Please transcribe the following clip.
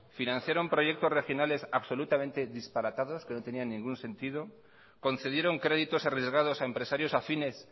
financiaron proyectos regionales absolutamente disparatados que no tenían ningún sentido concedieron créditos arriesgados a empresarios afines